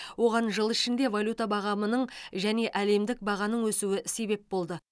оған жыл ішінде валюта бағамының және әлемдік бағаның өсуі себеп болды